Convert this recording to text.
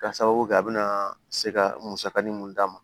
Ka sababu kɛ a bɛna se ka musakanin mun d'a ma